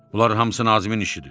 Bunların hamısı Nazimin işidir.